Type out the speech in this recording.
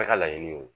ka laɲini ye